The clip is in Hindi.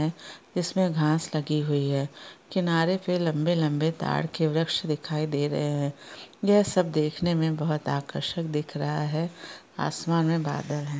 इसमे घास लगी हुई है किनारे पे लंबे लंबे ताड़ के वृक्ष दिखाई दे रहे है यह सब देखने में बहुत आकर्षक दिख रहा है आसमान में बादल है।